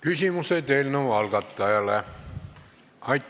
Küsimused eelnõu algatajale.